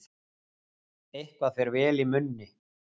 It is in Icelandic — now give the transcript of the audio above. Eitthvað fer vel í munni